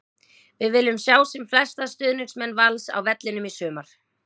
Við viljum sjá sem flesta stuðningsmenn Vals á vellinum í sumar!